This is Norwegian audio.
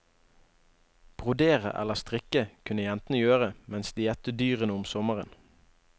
Brodere eller strikke kunne jentene gjøre mens de gjette dyrene om sommeren.